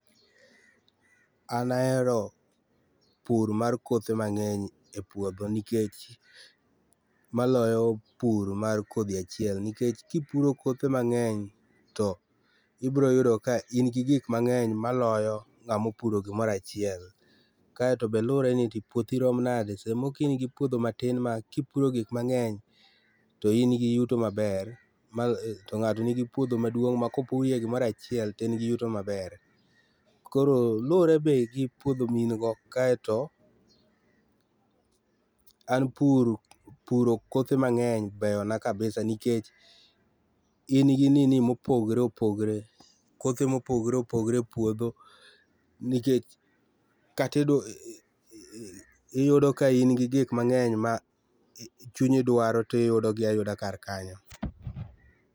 An ahero pur mar kothe mangeny e puodho nikech maloyo pur mar kodhi achiel nikech kipuro kothe mangeny tibiro yudo ka in gi gik mangeny maloyo ngama opuro gimoro achiel. Kaito be be lure ni puothi rom nade, samoro ka ingi puothi ma tin ma kipuro gik mangeny to in gi yuto maber, mal, to ngato nigi puodho maduong ma kopurie gimoro achiel to en gi yuto maber. Koro luore be gi puodho main go kaito an pur puro kothe mangeny beyona kabisa, nikech in gi nini ma opogore opogore, kothe ma opogore opogore e puodho nikech kata iyudo ka in gi gik mangeny ma chunyi dwaro tiyudo gi ayuda kar kanyo